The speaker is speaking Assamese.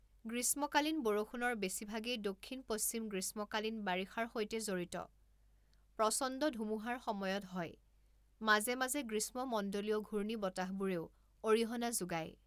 গ্ৰীষ্মকালীন বৰষুণৰ বেছিভাগেই দক্ষিণ পশ্চিম গ্ৰীষ্মকালীন বাৰিষাৰ সৈতে জড়িত প্ৰচণ্ড ধুমুহাৰ সময়ত হয় মাজে মাজে গ্ৰীষ্মমণ্ডলীয় ঘূৰ্ণীবতাহবোৰেও অৰিহণা যোগায়।